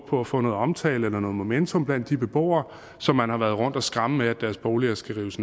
på at få noget omtale eller noget momentum blandt de beboere som man har været rundt at skræmme med at deres boliger skal rives